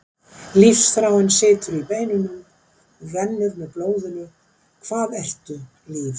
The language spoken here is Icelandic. Lífsþráin situr í beinunum, hún rennur með blóðinu, hvað ertu líf?